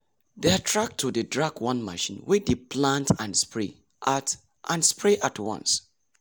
their tractor dey drag one machine wey dey plant and spray at and spray at once.